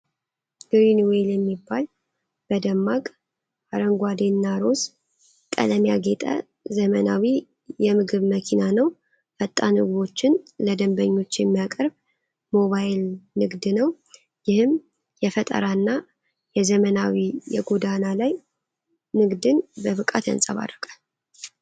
ግሪን ዌል የሚባል በደማቅ አረንጓዴና ሮዝ ቀለም ያጌጠ ዘመናዊ የምግብ መኪና ነው። ፈጣን ምግቦችን ለደንበኞች የሚያቀርብ ሞባይል ንግድ ነው። ይህም የፈጠራና የዘመናዊ የጎዳና ላይ ንግድን በብቃት ያንጸባርቃል።